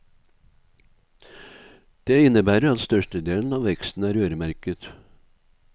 Det innebærer at størstedelen av veksten er øremerket.